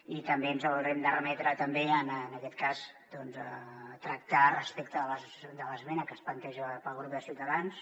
i també ens haurem de remetre en aquest cas doncs a tractar respecte de l’esmena que es planteja pel grup de ciutadans